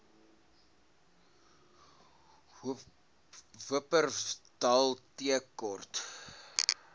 wupperthal tea court